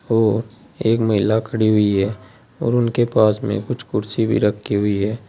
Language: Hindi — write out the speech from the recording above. और एक महिला खड़ी हुई है और उनके पास में कुछ कुर्सी भी रखी हुई है।